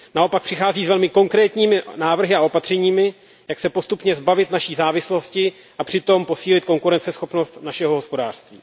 Naopak přichází s velmi konkrétními návrhy a opatřeními, jak se postupně zbavit naší závislosti a přitom posílit konkurenceschopnost našeho hospodářství.